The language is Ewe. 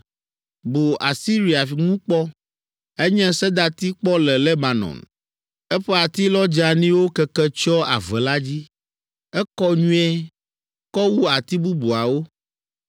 Bu Asiria ŋu kpɔ. Enye sedati kpɔ le Lebanon. Eƒe atilɔ dzeaniwo keke tsyɔ ave la dzi. Ekɔ nyuie, kɔ wu ati bubuawo